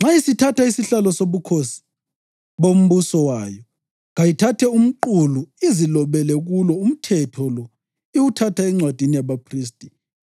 Nxa isithatha isihlalo sobukhosi bombuso wayo kayithathe umqulu izilobele kulo umthetho lo iwuthatha encwadini yabaphristi